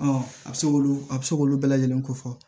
a bɛ se k'olu a bɛ se k'olu bɛɛ lajɛlen ko fɔ